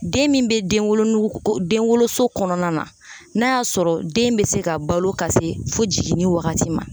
Den min bɛ denwolonugu o den woloso kɔnɔna na n'a y'a sɔrɔ den be se ka balo ka se fo jiginni wagati ma